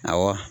Awɔ